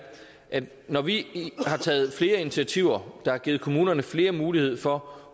at når vi har taget flere initiativer der har givet kommunerne flere muligheder for